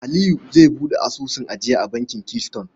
Aliyu zai buɗe asusun ajiya a bankin Keystone.